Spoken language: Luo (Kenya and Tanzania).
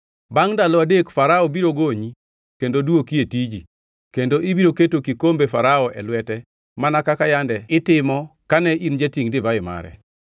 Bangʼ ndalo adek Farao biro gonyi kendo dwoki e tiji, kendo ibiro keto kikombe Farao e lwete mana kaka yande kitimo kane in jatingʼ divai mare.